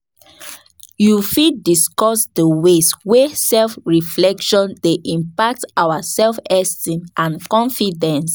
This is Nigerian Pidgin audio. You um fit um discuss di ways wey self-reflection dey impact our self-esteem and confidence?